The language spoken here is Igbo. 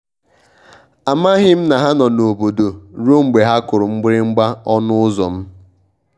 amaghị m na ha nọ n'obodo ruo mgbe ha kụrụ mgbịrịgba ọnụ ụzọ m.